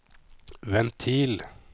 ventil